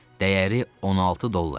Dəyəri 16 dollardır,